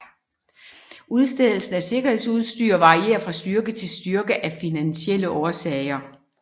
Udstedelsen af sikkerhedsudstyr varierer fra styrke til styrke af finansielle årsager